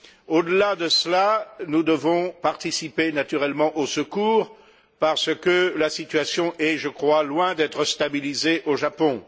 Au delà de cela, nous devons participer naturellement aux secours parce que la situation est, je crois, loin d'être stabilisée au Japon.